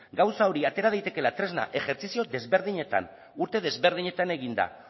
gauza hori atera daitekeela tresna ejertzizio desberdinetan urte desberdinetan eginda